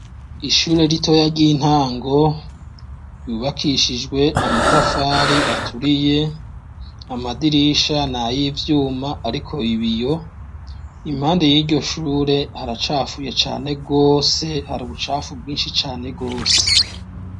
Ishure ritoya ry'intango ryubakishijwe amatafari aturiye amadirisha ni a yo ivyuma, ariko ibiyo impande y'iryo shure haracafuye cane bwose hari ubucafu bwinshi cane rwose.